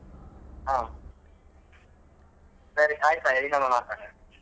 ಹ ಸರಿ ಆಯ್ತ್ ಹಾಗದ್ರೆ ಇನ್ನೊಮ್ಮೆ ಮಾತಾಡ್ವ.